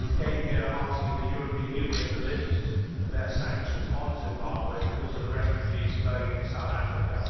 He came here asking the European Union to lift their sanctions on Zimbabwe because of the refugees flowing into South Africa.